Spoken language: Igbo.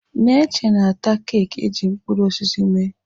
Neche na-ata keeki eji mkpụrụ osisi mee.